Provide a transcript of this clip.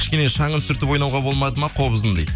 кішкене шаңын сүртіп ойнауға болмады ма қобыздың дейді